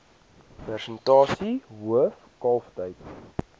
persentasie hoof kalftyd